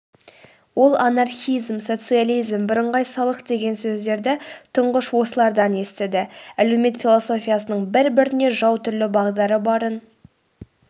ол анархизм социализм бірыңғай салық деген сөздерді тұңғыш осылардан естіді әлеумет философиясының бір-біріне жау түрлі бағдары барын